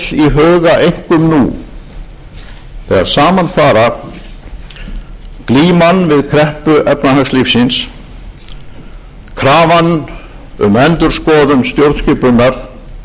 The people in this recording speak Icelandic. einkum nú þegar saman fara glíman við kreppu efnahagslífsins krafan um endurskoðun stjórnskipunar